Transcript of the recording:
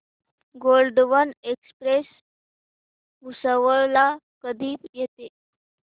Gondwana express Bhusawal ला कधी येते